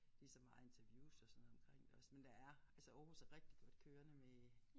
Lige så meget interviews og sådan noget omkring det også men der er altså Aarhus er rigtig godt kørende med